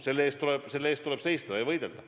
Selle eest tuleb seista ja võidelda.